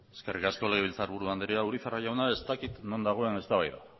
eskerrik asko legebiltzarburu andrea urizar jauna ez dakit non dagoen eztabaida